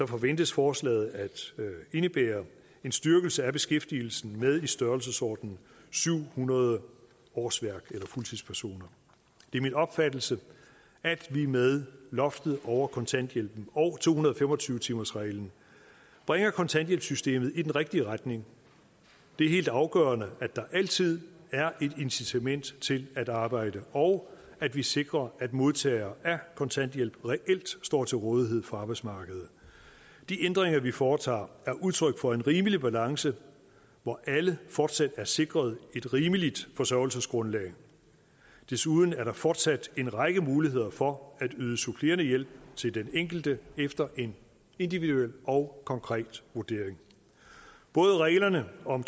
forventes forslaget at indebære en styrkelse af beskæftigelsen med i størrelsesordenen syv hundrede årsværk eller fuldtidspersoner det er min opfattelse at vi med loftet over kontanthjælpen og to hundrede og fem og tyve timersreglen bringer kontanthjælpssystemet i den rigtige retning det er helt afgørende at der altid er et incitament til at arbejde og at vi sikrer at modtagere af kontanthjælp reelt står til rådighed for arbejdsmarkedet de ændringer vi foretager er udtryk for en rimelig balance hvor alle fortsat er sikret et rimeligt forsørgelsesgrundlag desuden er der fortsat en række muligheder for at yde supplerende hjælp til den enkelte efter en individuel og konkret vurdering både reglerne om